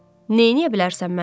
Neyləyə bilərsən mənə?